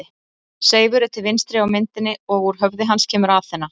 Seifur er til vinstri á myndinni og úr höfði hans kemur Aþena.